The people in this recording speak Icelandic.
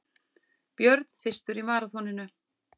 Björn fyrstur í maraþoninu